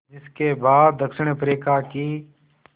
जिस के बाद दक्षिण अफ्रीका की